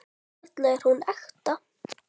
Við skulum hringja fyrst.